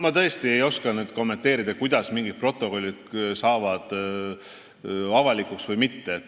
Ma tõesti ei oska kommenteerida, kuidas mingid protokollid avalikuks saavad või ei saa.